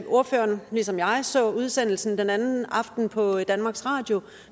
ordføreren ligesom jeg eksempelvis så udsendelsen den anden aften på danmarks radio